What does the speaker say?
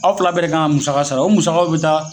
Aw fila bɛ kan ka musaka sara o musakaw bɛ taa